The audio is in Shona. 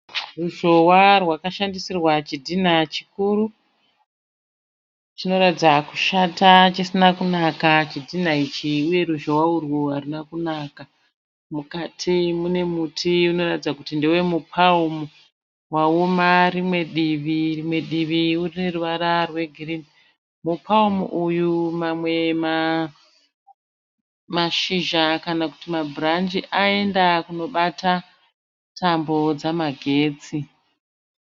Ruzhowa rwakashandisirwa chidhinha chikuru chinoratidza kushata chisina kunaka. Chidhinha ichi uye ruzhowa urwu haruna kunaka. Mukati mune muti unoratidza kuti ndewe mu(palm) waoma rimwe divi. Rimwe divi rine ruvara rwegirinhi. Mu (palm) uyu mamwe mashizha kana kuti ma (branch) aenda kunobata tambo dzemagetsi.